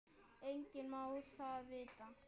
Enginn má það vita.